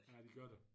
Ja det gør der